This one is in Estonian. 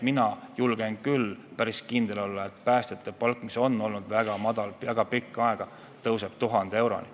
Mina julgen küll päris kindel olla, et päästjate palk, mis on olnud väga pikka aega väga madal, tõuseb 1000 euroni.